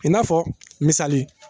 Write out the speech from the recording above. I n'a fɔ misali